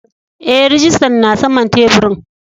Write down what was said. Eh rijistan na saman taburin.